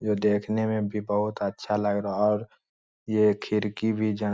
जो देखने में भी बहुत अच्छा लग रहा है और ये खिड़की भी --